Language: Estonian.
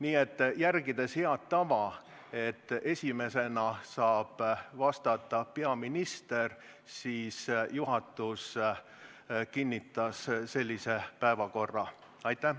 Nii et järgides head tava, et esimesena saab vastata peaminister, kinnitas juhatus sellise päevakorra.